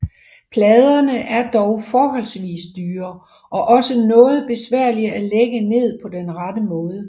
Pladerne er dog forholdsvis dyre og også noget besværlige at lægge ned på den rette måde